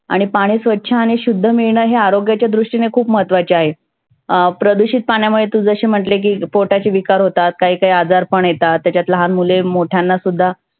आणि पाणी स्वच्छ आणि शुद्ध मिळनं हे आरोग्याच्या दृष्टीने खुप महत्वाचे आहे. अं प्रदुषीत पाण्यामुळे तु जशी म्हटली की पोटाचे विकार होतात, काही काही आजार पण येतात. त्याच्यात लहान मुले मोठ्यांना सुद्धा